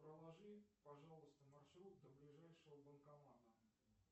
проложи пожалуйста маршрут до ближайшего банкомата